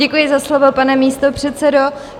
Děkuji za slovo, pane místopředsedo.